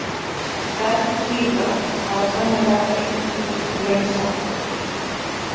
Sverðtígrar hafa sennilega veitt úr launsátri.